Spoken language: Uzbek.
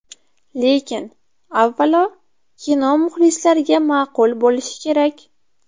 Lekin, avvalo, kino muxlislariga ma’qul bo‘lishi kerak.